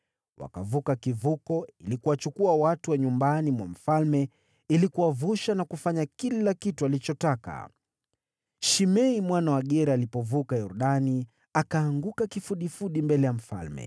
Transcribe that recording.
Wakavuka kivuko ili kuwachukua watu wa nyumbani mwa mfalme ili kuwavusha na kufanya kila kitu alichotaka. Shimei mwana wa Gera alipovuka Yordani, akaanguka kifudifudi mbele ya mfalme,